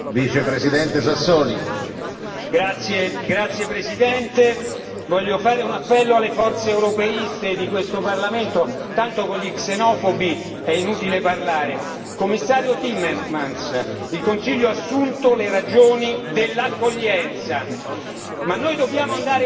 Signor Presidente, onorevoli colleghi, voglio fare un appello alle forze europeiste di questo Parlamento, tanto con gli xenofobi è inutile parlare. Commissario Timmermans, il Consiglio ha assunto le ragioni dell'accoglienza, ma noi dobbiamo andare oltre ed è nella nostra responsabilità dimostrare